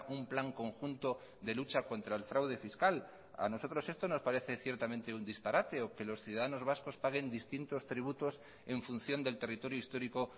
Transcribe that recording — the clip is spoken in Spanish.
un plan conjunto de lucha contra el fraude fiscal a nosotros esto nos parece ciertamente un disparate o que los ciudadanos vascos paguen distintos tributos en función del territorio histórico